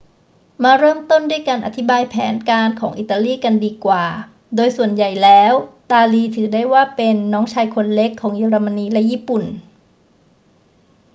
มาเริ่มต้นด้วยการอธิบายแผนการของอิตาลีกันดีกว่า โดยส่วนใหญ่แล้วตาลีถือได้ว่าเป็น น้องชายคนเล็ก ของเยอรมนีและญี่ปุ่น